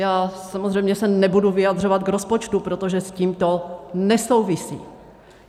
Já samozřejmě se nebudu vyjadřovat k rozpočtu, protože s tím to nesouvisí.